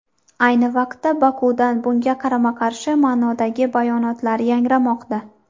Ayni vaqtda Bokudan bunga qarama-qarshi ma’nodagi bayonotlar yangramoqda.